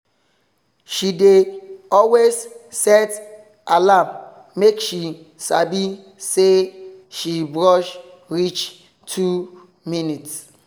she dey always set alarm make she sabi say she brush reach two minutes